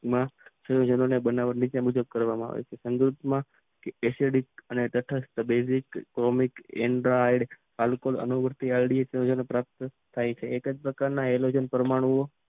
ક્લોરાઇડની બનાવટ મિથેન રીતે કરવાંમાં આવે છે. એસેડિક અને તટસ્થ્ય બેઝિક ટોમિક એન ધ આઇડ અને વૃત્તિ આઈડી કે જેને પ્રાપ્ત થાય છે એક જ પ્રકારના હાઇડ્રોજન પરમાણુઓમ